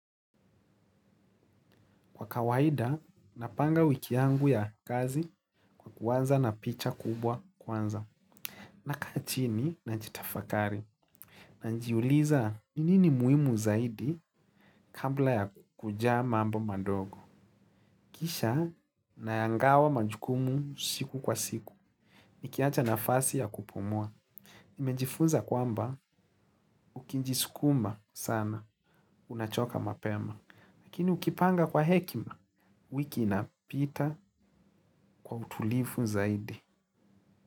Kwa kawaida, napanga wiki yangu ya kazi kwa kuwanza na picha kubwa kwanza. Na kachini na najitafakari. Na najiuliza ninini muimu zaidi kambla ya kujamambo madogo. Kisha na yangawa majukumu siku kwa siku. Nikiacha na fasi ya kupumua. Nimejifunza kwamba ukinji sukuma sana unachoka mapema. Lakini ukipanga kwa hekima, wiki inapita kwa utulifu zaidi.